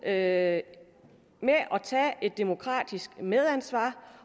at tage et demokratisk medansvar